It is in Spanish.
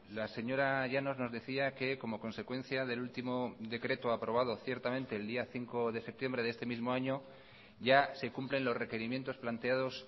la señora llanos nos decía que como consecuencia del último decreto aprobado ciertamente el día cinco de septiembre de este mismo año ya se cumplen los requerimientos planteados